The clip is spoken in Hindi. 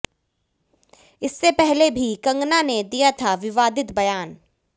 इससे पहले भी कंगना ने दिया था विवादित बयान